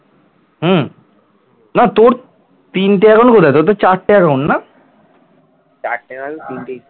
চারটে না হলে তিনটেই